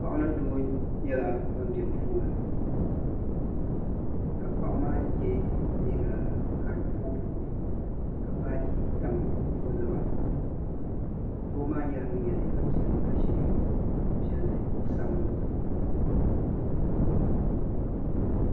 Paɣa ni doo nyɛla ban be duu ŋɔ ni ka paɣa maa ye liiga ka di booiboi ka baaji tam o naba zuɣu doo maa nyɛla ŋun ye liiga piɛlli ka ʒi kuɣu sabinli zuɣu.